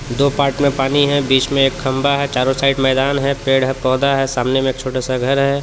दो पार्ट में पानी है बीच में एक खंभा है चारों साइड मैदान है पेड़ है पौधा है सामने में एक छोटा सा घर है।